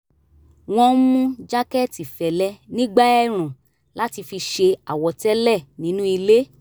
wọ́n ń mú jákẹ́ẹ̀tì fẹ́lẹ́ nígbà ẹ̀ẹ̀rùn láti fi ṣe àwọ̀tẹ́lẹ̀ nínú ilé